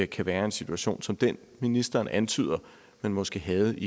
kan være en situation som den ministeren antyder man måske havde i